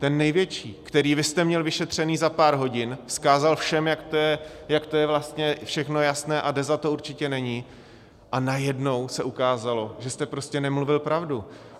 Ten největší, který vy jste měl vyšetřený za pár hodin, vzkázal všem, jak to je vlastně všechno jasné a Deza to určitě není, a najednou se ukázalo, že jste prostě nemluvil pravdu?